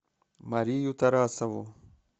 марию тарасову